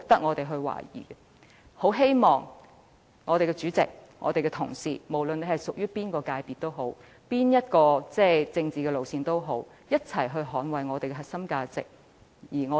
我很希望立法會主席和各位同事，無論屬於哪一界別，採取哪一政治路線，都要一同捍衞我們的核心價值。